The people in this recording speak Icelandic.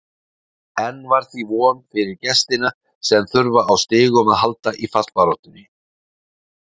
Enn var því von fyrir gestina sem þurfa á stigum að halda í fallbaráttunni.